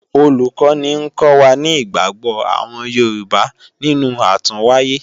Olùkọ́ni ń kọ́ wa ní ìgbàgbọ́ àwọn Yorùbá nínú àtúnwáyé